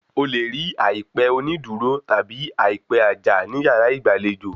O lè rí àìpẹ onídùúró tàbí àìpẹ àjà ní yàrá ìgbàlejò